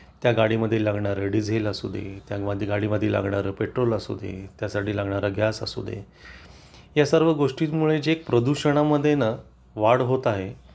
त्या गाडी मध्ये लागणारे डिझेल असू दे त्या गाडीमध्ये लागणारे पेट्रोल असू दे त्यासाठी लागणारा गॅस असू दे या सर्व गोष्टींमुळे जे प्रदूषणा मध्ये ना वाढ होत आहे